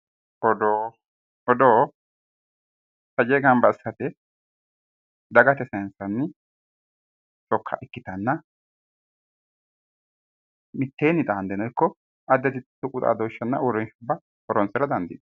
Odoo odoo taje gamba assate dagate sayinsanni sokka ikkitanna mitteenni xaandeno ikko addi addi tuqu xaadooshshira horonsira dandiinanni